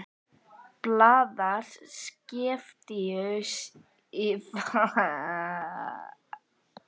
Blaðar skeptískur í farmiðum og vegabréfum.